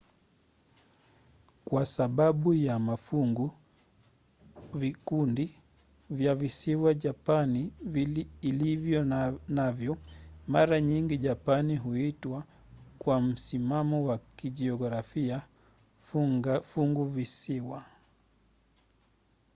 kwa sababu ya mafungu/vikundi vya visiwa japani ilivyo navyo mara nyingi japani huitwa kwa msimamo wa kijiografia funguvisiwa